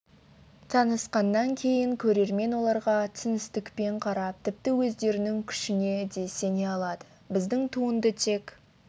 танысқаннан кейін көрермен оларға түсіністікпен қарап тіпті өздерінің күшіне де сене алады біздің туынды тек